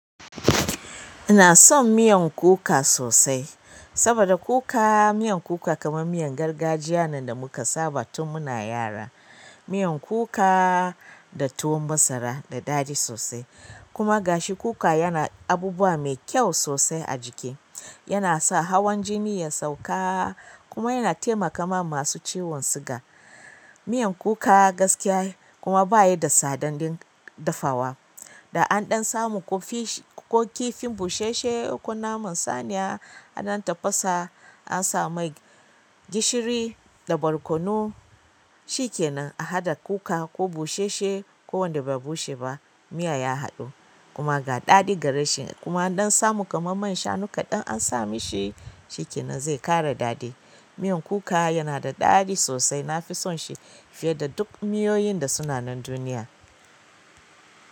Ina son miyan kuka sosai, saboda kuka. Miyan kuka kaman miyan gargajiya da muka saba tun muna yara. Miyan kuka da tuwon masara da daɗi sosai kuma gashi kuka yana abubuwa mai kyau sosai a jiki. Yana sa hawan jini ya sauka kuma yana taimakawa masu ciwon siga. Miyan kuka gaskiya kuma bayi da tsadan dafawa. Da an ɗan samu ko fish ko kifin busheshshe ko naman saniya a dan tafasa asa mai gishiri da barkono shi kenan a haɗa kuka ko busheshshe ko wanda ba bushe ba. Miya ya haɗu kuma ga daɗi ga rashi kuma an ɗan samu kamar man shanu kaɗan ansa mishi shi shikenanzai ƙara daɗi. Miyan kuka yana da daɗi sosai nafi son shi fiye da duk miyoyin da suna nan duniya.